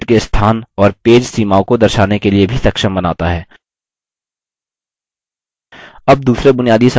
यह हमें पेज पर object के स्थान और पेज सीमाओं को दर्शाने के लिए भी सक्षम बनाता है